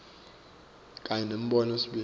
kanye nembono wesibili